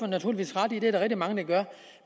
naturligvis ret i at der er rigtig mange der gør